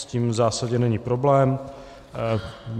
S tím v zásadě není problém.